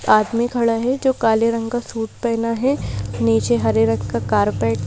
आदमी खड़ा है जो काले रंग का सूट पहना है नीचे हरे रंग का कारपेट --